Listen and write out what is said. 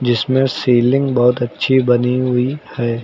इसमें सीलिंग बहुत अच्छी बनी हुई है।